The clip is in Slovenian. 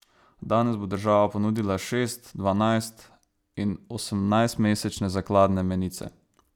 Danes bo država ponudila šest, dvanajst in osemnajstmesečne zakladne menice.